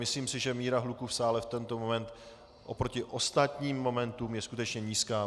Myslím si, že míra hluku v sále v tento moment oproti ostatním momentům je skutečně nízká.